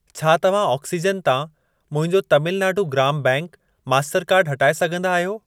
छा तव्हां ऑक्सीजन तां मुंहिंजो तमिल नाडु ग्राम बैंक मास्टरकार्डु हटाए सघंदा आहियो?